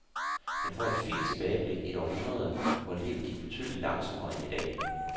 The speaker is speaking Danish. Man får et fint tilbageblik i et århundrede, hvor livet gik betydeligt langsommere end i dag.